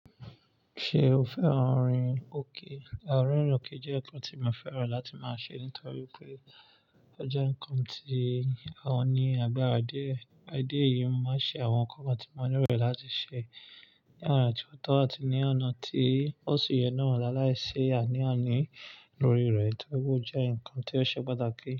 Ṣé o fẹ́ran orin óké? Ririn óké jẹ́ nkan tí mo fẹ́ran láti máa ṣe nítorí pé ó jẹ́ nkan tí o n ní àgbàrá dié. Ẹ̀ẹ̀, à idi eyìí mo máa n ṣe àwọn nkankan tí mo ní lo láti ṣe ní ọ̀na tí o tó á ti ní ọ̀nà tí ó sì yẹ náà láàláìṣi àní àní lórí rẹ̀, nítorí ó jẹ́ nkan tí ó ṣe pàtàkì.